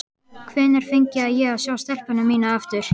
Hvenær fengi ég að sjá stelpuna mína aftur?